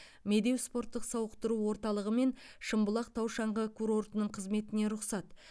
медеу спорттық сауықтыру орталығы мен шымбұлақ тау шаңғы курортының қызметіне рұқсат